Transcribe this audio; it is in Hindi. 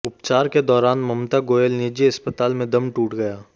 उपचार के दौरान ममता गोयल निजी अस्पताल में दम टूट गया